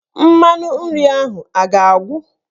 Mmanụ nri ahụ a ga-agwụ?